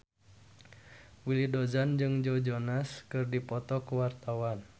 Willy Dozan jeung Joe Jonas keur dipoto ku wartawan